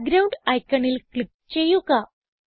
background iconൽ click ചെയ്യുക